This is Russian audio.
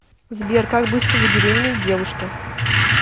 сбер как быстро забеременеть девушке